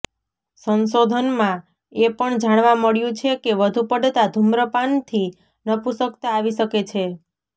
સંશોધનમાં એ પણ જાણવા મળ્યું છે કે વધુ પડતા ધુમ્રપાનથી નપુંસકતા આવી શકે છે